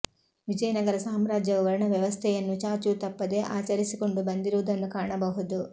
ವಿಜಯನಗರ ಸಾಮ್ರಾಜ್ಯವು ವರ್ಣ ವ್ಯವಸ್ಥೆಯನ್ನು ಚಾಚೂ ತಪ್ಪದೆ ಆಚರಿಸಿಕೊಂಡು ಬಂದಿರುವುದನ್ನು ಕಾಣಬಹುದು